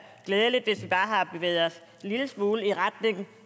glædeligt hvis vi bare har bevæget os en lille smule i retning